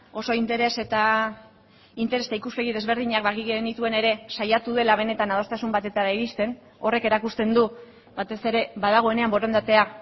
oso interes eta ikuspegi desberdinak bagenituen ere saiatu dela benetan adostasun batera iristen horrek erakusten du batez ere badagoenean borondatea